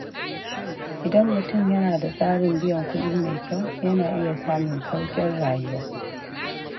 Idan mutum yana da tsarin biyan kuɗi mai kyau, yana iya samun sauƙin rayuwa.